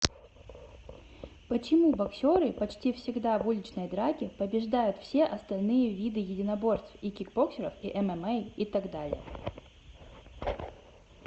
почему боксеры почти всегда в уличной драке побеждают все остальные виды единоборств и кибоксеров и мма и тд